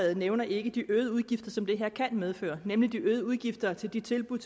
nævner ikke de øgede udgifter som det her kan medføre nemlig de øgede udgifter til de tilbud